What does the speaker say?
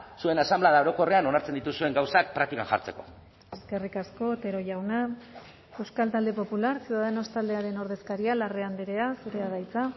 zuen asanblada orokorrean onartzen dituzuen gauzak praktikan jartzeko eskerrik asko otero jauna euskal talde popular ciudadanos taldearen ordezkaria larrea andrea zurea da hitza